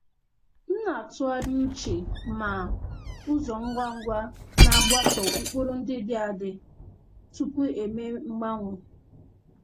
M na-atụgharị uche ma ụzọ ngwa ngwa na-agbaso ụkpụrụ ndị dị dị adị tupu eme mgbanwe.